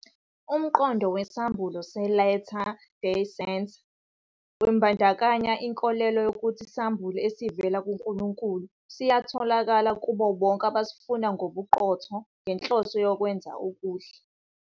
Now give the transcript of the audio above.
Umqondo wesambulo se-Latter Day Saint wembandakanya inkolelo yokuthi isambulo esivela kuNkulunkulu siyatholakala kubo bonke abasifuna ngobuqotho ngenhloso yokwenza okuhle.